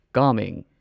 ꯀꯥꯃꯦꯡ